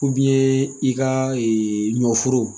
i ka ɲɔforo